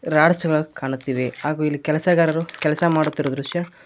ರಾರ್ಚ್ಗಳು ಕಾಣುತ್ತಿವೆ ಹಾಗು ಇಲ್ಲಿ ಕೆಲಸಗಾರರು ಕೆಲಸ ಮಾಡುತ್ತಿರುವ ದೃಶ್ಯ --